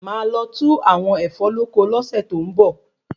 Máà lo tu àwọn Ẹ̀fọ́ lóko lo se to n bo